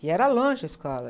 E era longe a escola.